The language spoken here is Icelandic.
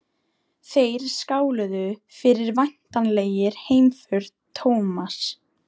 Þeir skáluðu fyrir væntanlegri heimför Thomas.